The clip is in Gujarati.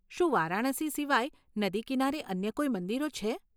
શું વારાણસી સિવાય નદી કિનારે અન્ય કોઈ મંદિરો છે?